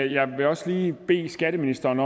jeg vil også lige bede skatteministeren